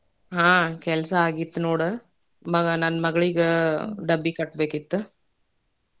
ಹಾ ಕೆಲಸಾ ಆಗಿತ್ ನೋಡ ಮಗಾ ನನ್ನ ಮಗ್ಳಿಗೆ ಡಬ್ಬಿ ಕಟ್ಬೇಕಿತ್.